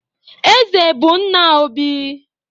Eze bụ nna Obi